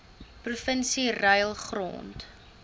provinsie ruil grond